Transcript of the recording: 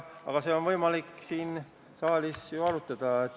Aga seda on võimalik siin saalis arutada.